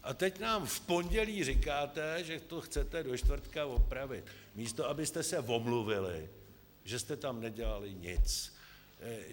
A teď nám v pondělí říkáte, že to chcete do čtvrtka opravit, místo abyste se omluvili, že jste tam nedělali nic.